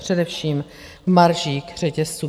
Především v maržích řetězců.